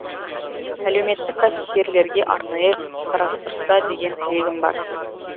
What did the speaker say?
әлеуметтік кәсіпкерлерге арнайы қарастырса деген тілегім бар